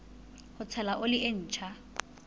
ho tshela oli e ntjha